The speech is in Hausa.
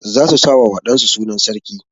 Za su sa wa wa ɗan su sunan sarki.